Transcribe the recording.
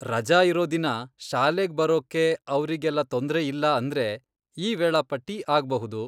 ರಜಾ ಇರೋ ದಿನ ಶಾಲೆಗ್ ಬರೋಕ್ಕೆ ಅವ್ರಿಗೆಲ್ಲ ತೊಂದ್ರೆ ಇಲ್ಲ ಅಂದ್ರೆ, ಈ ವೇಳಾಪಟ್ಟಿ ಆಗ್ಬಹುದು.